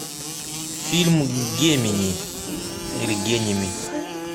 фильм гемини или геними